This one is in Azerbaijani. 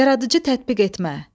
Yaradıcı tətbiq etmə.